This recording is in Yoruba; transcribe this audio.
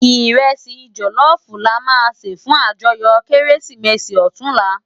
Irèsi jòlòfú làmá sé fún àjòyò Kérésimési òtúnlá